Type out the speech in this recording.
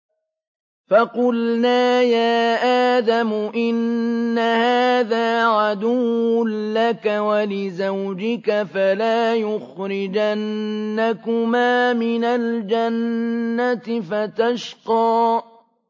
فَقُلْنَا يَا آدَمُ إِنَّ هَٰذَا عَدُوٌّ لَّكَ وَلِزَوْجِكَ فَلَا يُخْرِجَنَّكُمَا مِنَ الْجَنَّةِ فَتَشْقَىٰ